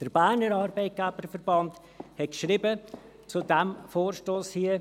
Der Berner Arbeitgeberverband hat zum vorliegenden Vorstoss geschrieben: